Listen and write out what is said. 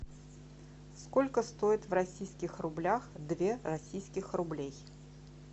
сколько стоит в российских рублях две российских рублей